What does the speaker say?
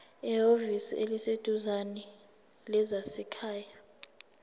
ehhovisi eliseduzane lezasekhaya